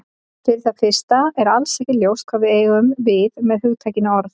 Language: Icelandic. Fyrir það fyrsta er alls ekki ljóst hvað við eigum við með hugtakinu orð.